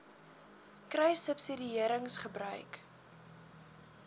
kruissubsidiëringgebruik